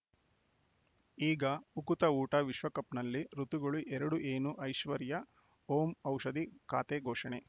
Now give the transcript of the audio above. ಈಗ ಉಕುತ ಊಟ ವಿಶ್ವಕಪ್‌ನಲ್ಲಿ ಋತುಗಳು ಎರಡು ಏನು ಐಶ್ವರ್ಯಾ ಓಂ ಔಷಧಿ ಖಾತೆ ಘೋಷಣೆ